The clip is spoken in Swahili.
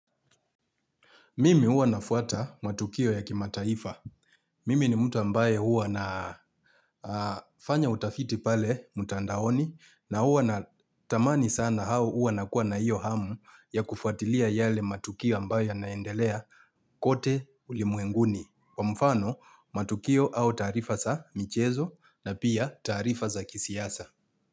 Mimi huwa nafuata matukio ya kimataifa. Mimi ni mtu ambaye huwa na fanya utafiti pale mtandaoni na huwa natamani sana au huwa nakuwa na hiyo hamu ya kufuatilia yale matukio ambaye naendelea kote ulimwenguni. Kwa mfano, matukio au taarifa sa michezo na pia taarifa za kisiasa.